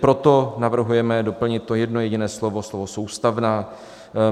Proto navrhujeme doplnit to jedno jediné slovo - slovo "soustavná".